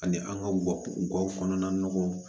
Ani an ka gawo kɔnɔna nɔgɔw